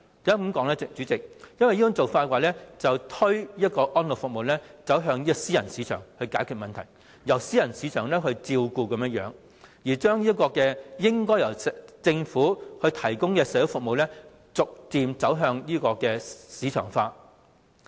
因為這種做法會把安老服務推向私人市場，變成由私人市場照顧來解決問題，把應該由政府提供的社會服務逐漸推向市場化。